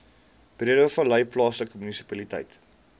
breedevallei plaaslike munisipaliteit